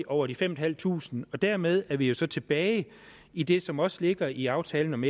over de fem tusind fem og dermed er vi jo så tilbage i det som også ligger i aftalen om